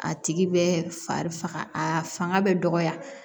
A tigi bɛ fari faga a fanga bɛ dɔgɔya